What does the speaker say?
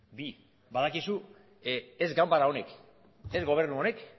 bi badakizu ez ganbara honek ez gobernu honek